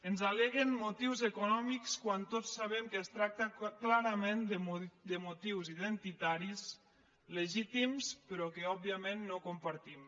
ens al·leguen motius econòmics quan tots sabem que es tracta clarament de motius identitaris legítims però que òbviament no compartim